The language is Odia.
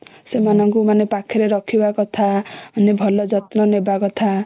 ହୁଁ ସେମାନଙ୍କୁ ମାନେ ପାଖରେ ରଖିବା କଥା ଭଲ ଯତ୍ନ ନବା କଥା